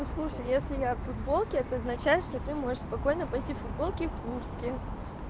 послушай если я в футболке это означает что ты можешь спокойно пойти в футболке и куртке